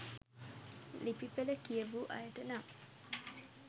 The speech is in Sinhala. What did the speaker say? ලිපි පෙළ කියවූ අයට නම්